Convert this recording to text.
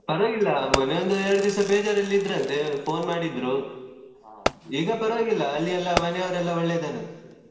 ಪರ್ವಾಗಿಲ್ಲ ಮೊನ್ನೆ ಒಂದು ಎರಡು ದಿವಸ ಬೇಜಾರಲ್ಲಿ ಇದ್ರಂತೆ phone ಮಾಡಿದ್ರು ಈಗ ಪರ್ವಾಗಿಲ್ಲ ಅಲ್ಲಿ ಎಲ್ಲ ಮನೆಯವರೆಲ್ಲ ಒಳ್ಳೆ ಇದ್ದಾರಂತೆ.